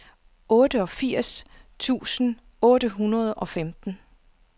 otteogfirs tusind otte hundrede og femten